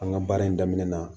An ka baara in daminɛ na